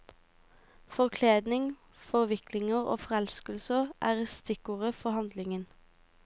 Forkledninger, forviklinger og forelskelser er stikkord for handlingen.